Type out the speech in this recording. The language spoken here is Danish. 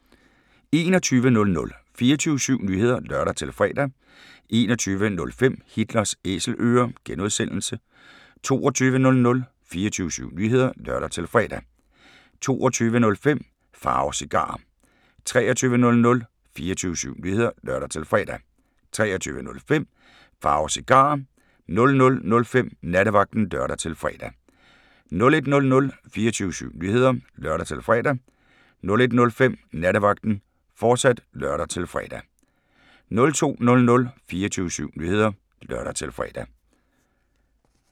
21:00: 24syv Nyheder (lør-fre) 21:05: Hitlers Æselører (G) 22:00: 24syv Nyheder (lør-fre) 22:05: Pharaos Cigarer 23:00: 24syv Nyheder (lør-fre) 23:05: Pharaos Cigarer 00:05: Nattevagten (lør-fre) 01:00: 24syv Nyheder (lør-fre) 01:05: Nattevagten, fortsat (lør-fre) 02:00: 24syv Nyheder (lør-fre)